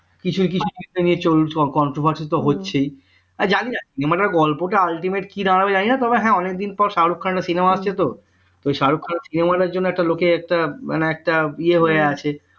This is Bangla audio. কিছু কিছু controversy তো হচ্ছেই আর জানিনা মানে গল্পটা ultimate কি দাঁড়াবে জানিনা তবে হ্যাঁ অনেক দিন পর শাহরুখ খানের একটা cinema আসছে তো তো শাহরুখ খানের জন্য লোক একটা মানে একটা ইয়ে হয়ে আছে